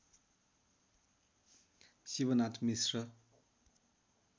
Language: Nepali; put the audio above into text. शिवनाथ मिश्र